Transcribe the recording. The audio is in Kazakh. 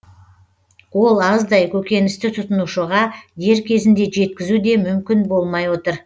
ол аздай көкөністі тұтынушыға дер кезінде жеткізу де мүмкін болмай отыр